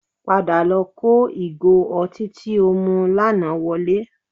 Padà lọ kó igò ọtí tí o mu lánàá wọlé